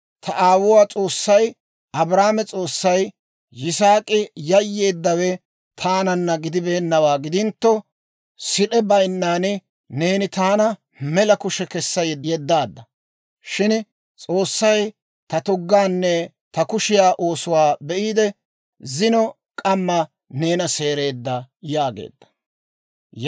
Ta aawuwaa S'oossay, Abrahaame S'oossay, Yisaak'i yayyeeddawe taananna gidibeennawaa gidintto, sid'e baynnan neeni taana mela kushe kessa yeddaadda; shin S'oossay ta tuggaanne ta kushiyaa oosuwaa be'iide, zino k'amma neena seereedda» yaageedda.